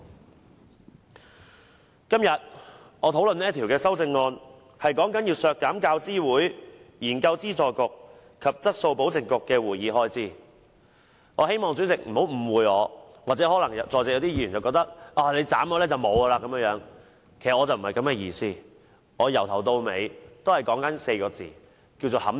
我今天討論這項修正案，是關於削減"教資會、研究資助局及質素保證局的會議開支"，我希望主席或在席議員不要誤以為削減了它們便沒有撥款，其實我不是這個意思。